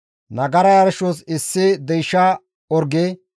Nagara yarshos issi deysha orge,